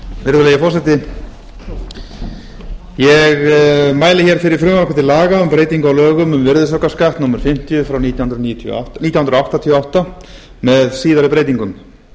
virðulegi forseti ég mæli fyrir frumvarpi til laga um breyting á lögum um virðisaukaskatt númer fimmtíu nítján hundruð áttatíu og átta með síðari breytingum